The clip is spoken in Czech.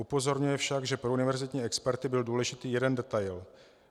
Upozorňuje však, že pro univerzitní experty byl důležitý jeden detail.